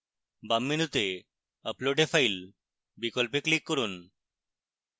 বাম মেনুতে upload a file বিকল্পে click করুন